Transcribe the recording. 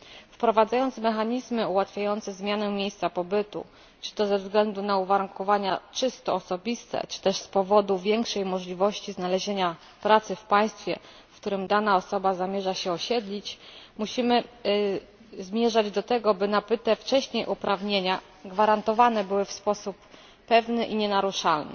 Wprowadzając mechanizmy ułatwiające zmianę miejsca pobytu, czy to ze względu na uwarunkowania czysto osobiste czy też z powodu większej możliwości znalezienia pracy w państwie, w którym dana osoba zamierza się osiedlić, musimy zmierzać do tego, aby nabyte wcześniej uprawnienia gwarantowane były w sposób pewny i nienaruszalny.